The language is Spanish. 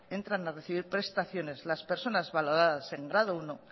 entran a recibir prestaciones las personas valoradas en grado uno